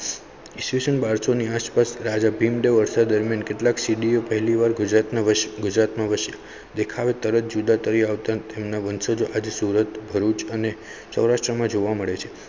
ઇસવીસન બરશો ની આસપાસ રાજા ભીમદેવ અરસા દરમિયાન કેટલાક સિદ્ધિઓ પહેલીવાર ગુજરાતમાં ગુજરાતમાં વસ્યા દેખા તરત જુદા તરી આવતા સુરત, ભરૂચ અને સૌરાષ્ટ્રમાં જોવા મળે છે.